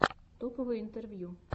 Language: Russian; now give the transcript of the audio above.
топовые интервью